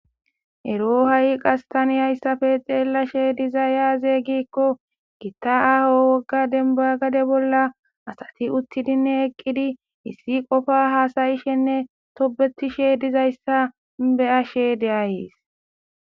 ero ha7i qas taniyayssafe xeellashe diza yaaze gikko gitta aho wogga denba gade bolla asati uttidinne eqqidi issi qofa haasayishenne tobetishe dizayssa be'ashe de7ayees